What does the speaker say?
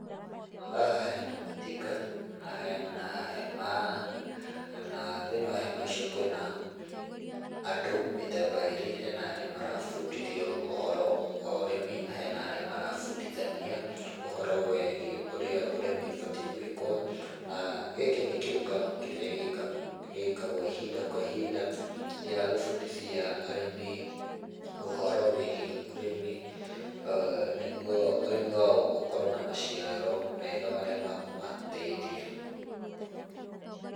Haha hena matinga, na hena hemaa, na thĩinĩ wa hema icio kwĩna, andũ mĩthemba ĩrĩ, hena arĩa marabundithio ũhoro wa urĩmi na hena arĩa marabundithania ũhoro wĩgie ũrĩa ũrĩmi ubatie gwikwo, na gĩkĩ nĩ kĩũngano kĩrĩa gĩkaa gĩkagwo ihinda kwa ihinda, gĩa gũbundithia arĩmi, ũhoro wĩgie ũrĩmi nĩguo ũrĩmi wao ũkorwo na maciaro mega marĩa makũmateithia.